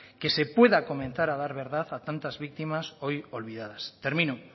que se pueda comenzar a dar verdad a tantas víctimas hoy olvidadas termino